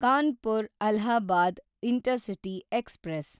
Kanpur Allahabad intercity express